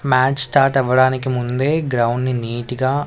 Match start అవ్వడానికి ముందే ground ని నీట్ గా .